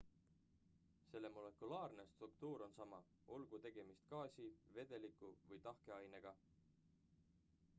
selle molekulaarne struktuur on sama olgu tegemist gaasi vedeliku või tahke ainega